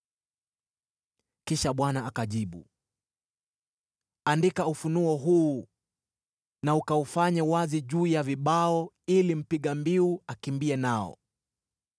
Kisha Bwana akajibu: “Andika ufunuo huu, na ukaufanye wazi juu ya vibao, ili mpiga mbiu akimbie nao.